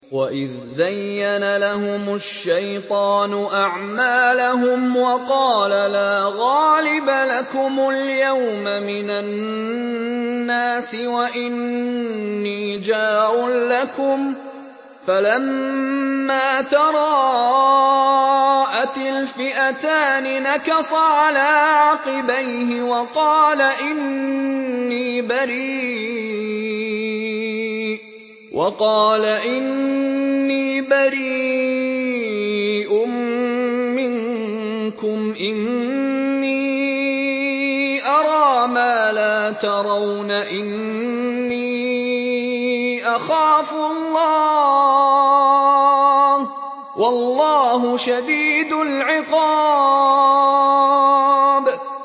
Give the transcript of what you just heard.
وَإِذْ زَيَّنَ لَهُمُ الشَّيْطَانُ أَعْمَالَهُمْ وَقَالَ لَا غَالِبَ لَكُمُ الْيَوْمَ مِنَ النَّاسِ وَإِنِّي جَارٌ لَّكُمْ ۖ فَلَمَّا تَرَاءَتِ الْفِئَتَانِ نَكَصَ عَلَىٰ عَقِبَيْهِ وَقَالَ إِنِّي بَرِيءٌ مِّنكُمْ إِنِّي أَرَىٰ مَا لَا تَرَوْنَ إِنِّي أَخَافُ اللَّهَ ۚ وَاللَّهُ شَدِيدُ الْعِقَابِ